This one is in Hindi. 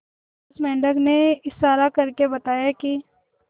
उस मेंढक ने इशारा करके बताया की